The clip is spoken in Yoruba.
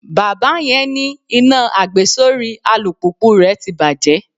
Bàbá yẹn ní iná àgbesórí alùpùpù rè ti bàjẹ́.